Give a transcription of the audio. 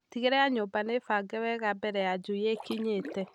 Tigĩrĩra nyũmba nĩbange wega mbere ya njui ikinyĩte.